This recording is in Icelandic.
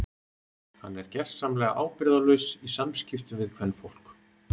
Hann er gersamlega ábyrgðarlaus í samskiptum við kvenfólk.